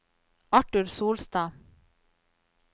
Arthur Solstad